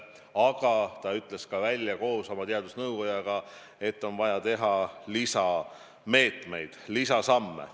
Aga ta ütles ka koos oma teadusnõukoguga välja, et on vaja lisameetmeid, lisasamme.